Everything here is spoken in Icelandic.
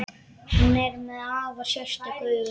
Hann er með afar sérstök augu.